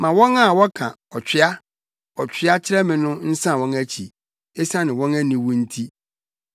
Ma wɔn a wɔka, “Ɔtwea! Ɔtwea!” kyerɛ me no nsan wɔn akyi, esiane wɔn aniwu nti.